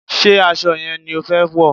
Ṣé aṣọ yẹn ni o fẹ wọ̀?